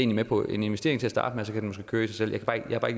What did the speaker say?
med på en investering til